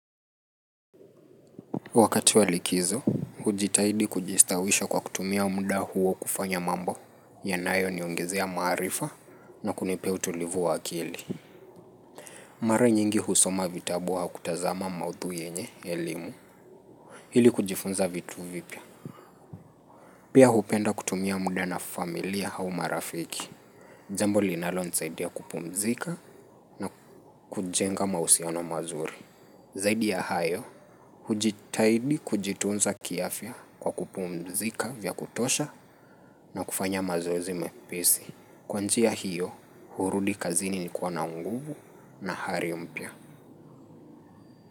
Wakati wa likizo, hujitahidi kujistawisha kwa kutumia muda huo kufanya mambo yanayoniongezea maarifa na kunipea utulivu wa akili. Mara nyingi husoma vitabu au kutazama maudhui yenye, elimu, hili kujifunza vitu vipya. Pia hupenda kutumia muda na familia au marafiki. Jambo linalo nisaidia kupumzika na kujenga mahusiano mazuri. Zaidi ya hayo, hujitaidi kujitunza kiafya kwa kupmzika vya kutosha na kufanya mazoezi mepesi. Kwa njia hiyo, hurudi kazini nikiwa na nguvu na hari mpya.